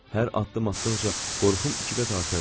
Hər addım atdıqca qorxum iki qat artırdı.